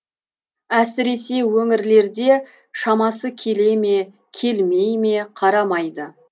әсіресе өңірлерде шамасы келе ме келмей ме қарамайды